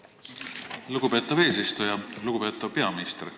Lugupeetav peaminister!